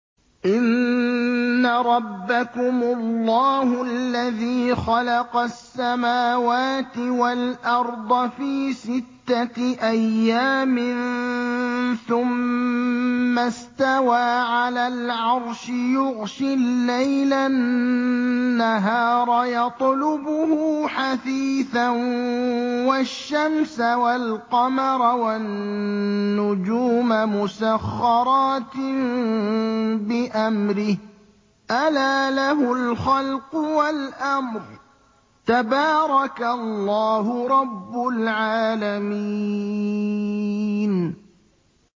إِنَّ رَبَّكُمُ اللَّهُ الَّذِي خَلَقَ السَّمَاوَاتِ وَالْأَرْضَ فِي سِتَّةِ أَيَّامٍ ثُمَّ اسْتَوَىٰ عَلَى الْعَرْشِ يُغْشِي اللَّيْلَ النَّهَارَ يَطْلُبُهُ حَثِيثًا وَالشَّمْسَ وَالْقَمَرَ وَالنُّجُومَ مُسَخَّرَاتٍ بِأَمْرِهِ ۗ أَلَا لَهُ الْخَلْقُ وَالْأَمْرُ ۗ تَبَارَكَ اللَّهُ رَبُّ الْعَالَمِينَ